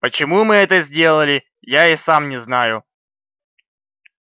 почему мы это сделали я и сам не знаю